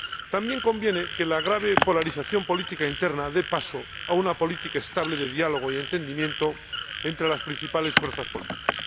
También conviene que la grave polarización política interna dé paso a una política estable de diálogo y entendimiento entre las principales fuerzas políticas.